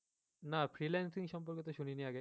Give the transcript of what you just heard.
না freelancing সম্পর্কে তো শুনিনি আগে